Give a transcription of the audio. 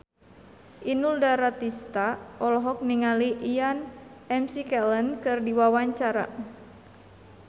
Inul Daratista olohok ningali Ian McKellen keur diwawancara